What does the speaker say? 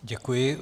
Děkuji.